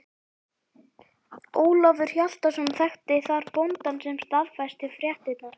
Ólafur Hjaltason þekkti þar bóndann sem staðfesti fréttirnar.